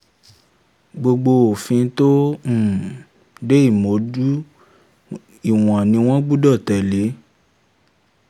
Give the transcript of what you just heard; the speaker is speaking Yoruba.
gbogbo òfin um tó um de ìmúdójú ìwọ̀n ni wọ́n gbọ́dọ̀ tẹ́lẹ̀.